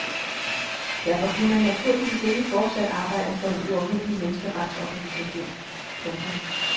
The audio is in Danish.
Derfor kunne han naturligvis ikke fortsat arbejde for en uafhængig menneskeretsorganisation. punktum